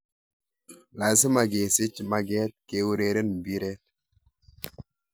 Lasima kesiich mageet keureren mbireet